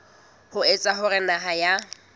ho etsa hore naha ya